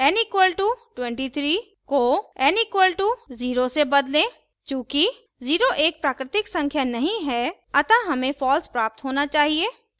n = 23 को n = 0 से बदलें चूँकि 0 एक प्राकृतिक संख्या नहीं है अतः हमें false प्राप्त होना चाहिए